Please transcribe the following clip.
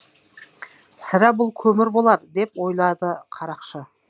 сірә бұл көмір болар деп ойлады қарақшы